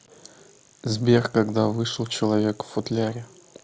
сбер когда вышел человек в футляре